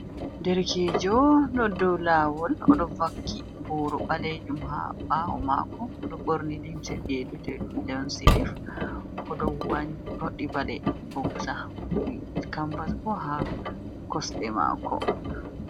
Derkejo ɗo dow lawol odo vakki boro ɓalejun ha ɓawo mako Odo ɓorni limse be vi'ete dum lon silif. Odo wanyoddi bade boga cambas bo ha kosde mako.